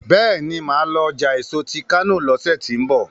béèni má lọ ọjà èso tí kano lọsẹ tí n bọ